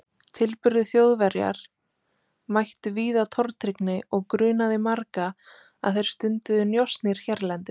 Tilburðir Þjóðverjar mættu víða tortryggni og grunaði marga að þeir stunduðu njósnir hérlendis.